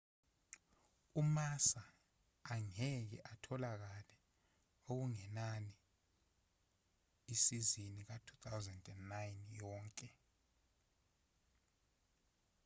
umassa angeke atholakale okungenani isizini ka-2009 yonke